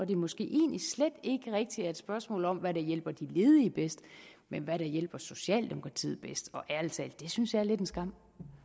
det måske egentlig slet ikke rigtig er et spørgsmål om hvad der hjælper de ledige bedst men hvad der hjælper socialdemokratiet bedst og ærlig talt det synes jeg er lidt en skam